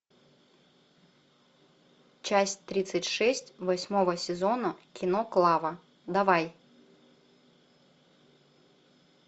часть тридцать шесть восьмого сезона кино клава давай